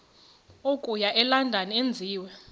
okuya elondon enziwe